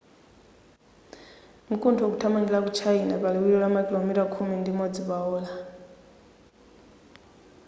mkuntho ukuthamangira ku china pa liwiro la makilomita khumi ndi imodzi pa ola